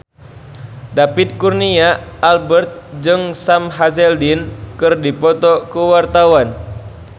David Kurnia Albert jeung Sam Hazeldine keur dipoto ku wartawan